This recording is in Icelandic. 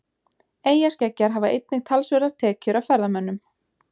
Eyjaskeggjar hafa einnig talsverðar tekjur af ferðamönnum.